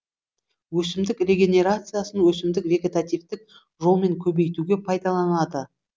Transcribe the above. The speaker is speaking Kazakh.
өсімдік регенерациясын өсімдік вегетативтік жолмен көбейтуге пайдаланады